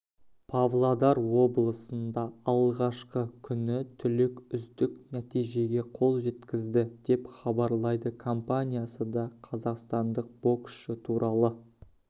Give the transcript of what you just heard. павлодар облысында алғашқы күні түлек үздік нәтижеге қол жеткізді деп хабарлайды компаниясы да қазақстандық боксшы туралы